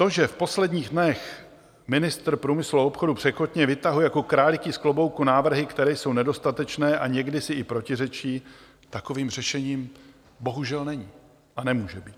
To, že v posledních dnech ministr průmyslu a obchodu překotně vytahuje jako králíky z klobouky návrhy, které jsou nedostatečné a někdy si i protiřečí, takovým řešením bohužel není a nemůže být.